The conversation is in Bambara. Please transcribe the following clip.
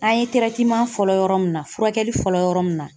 An ye fɔlɔ yɔrɔ munna, furakɛli fɔlɔ yɔrɔ miunna.